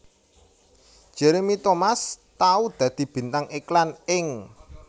Jeremy Thomas tau dadi bintang iklan ing